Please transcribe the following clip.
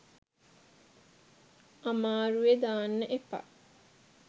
අමාරුවෙ දාන්න එපා